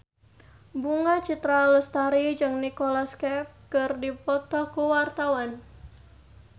Bunga Citra Lestari jeung Nicholas Cafe keur dipoto ku wartawan